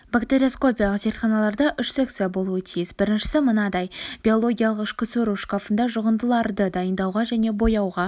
бактериоскопиялық зертханаларда үш секция болуы тиіс біріншісі мынадай биологиялық ішке сору шкафында жұғындыларды дайындауға және бояуға